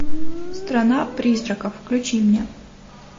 страна призраков включи мне